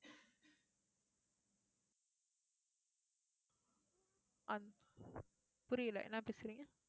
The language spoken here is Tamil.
புரியல, என்ன பேசுறீங்க